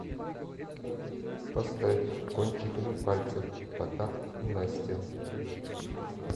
поставь кончиками пальцев потап и настя